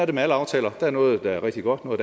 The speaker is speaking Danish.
det med alle aftaler der er noget der er rigtig godt og